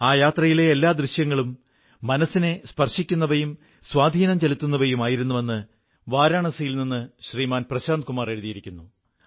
ആ യാത്രയിലെ എല്ലാ ദൃശ്യങ്ങളും മനസ്സിനെ സ്പർശിക്കുന്നവയും സ്വാധീനം ചെലുത്തുന്നവയുമായിരുന്നുവെന്ന് വാരാണസിയിൽ നിന്ന് ശ്രീമാൻ പ്രശാന്തകുമാർ എഴുതിയിരിക്കുന്നു